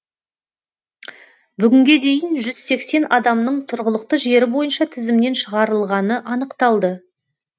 бүгінге дейін жүз сексен адамның тұрғылықты жері бойынша тізімнен шығарылғаны анықталды